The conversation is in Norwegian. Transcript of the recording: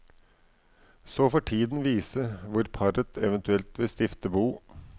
Så får tiden vise hvor paret eventuelt vil stifte bo.